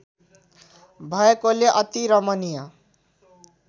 भएकोले अति रमणीय